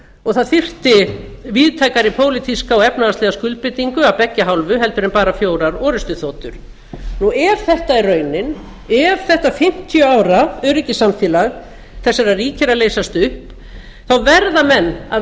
og það þyrfti víðtækari pólitíska og efnahagslega skuldbindingu af beggja hálfu heldur en bara fjórar orrustuþotur ef það er raunin ef þetta fimmtíu ára öryggissamfélag þessara ríkja er að leysast upp verða menn að